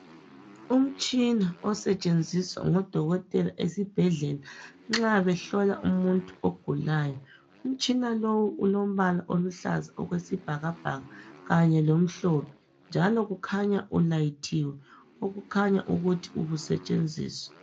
Umtshina osetshenziswa ngudokotela esibhedlela nxa behlola umuntu ogulayo. Umtshina lo ulombala oluhlaza okwesibhakabhaka kanye lomhlophe njalo kukhanya ulayithiwe okukhanya ukuthi ubusetshenziswa